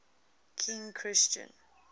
king christian